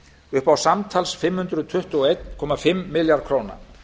upp á samtals fimm hundruð tuttugu og einn komma fimm milljarða króna